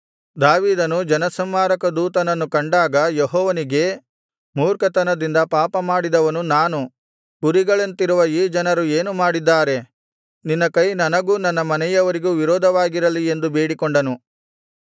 ದಾವೀದನು ಜನಸಂಹಾರಕ ದೂತನನ್ನು ಕಂಡಾಗ ಯೆಹೋವನಿಗೆ ಮೂರ್ಖತನದಿಂದ ಪಾಪಮಾಡಿದವನು ನಾನು ಕುರಿಗಳಂತಿರುವ ಈ ಜನರು ಏನು ಮಾಡಿದ್ದಾರೆ ನಿನ್ನ ಕೈ ನನಗೂ ನನ್ನ ಮನೆಯವರಿಗೂ ವಿರೋಧವಾಗಿರಲಿ ಎಂದು ಬೇಡಿಕೊಂಡನು